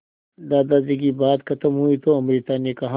दादाजी की बात खत्म हुई तो अमृता ने कहा